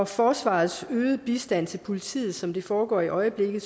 forsvarets øgede bistand til politiet sådan som det foregår i øjeblikket